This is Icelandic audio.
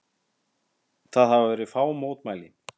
Það hafa verið fá mótmæli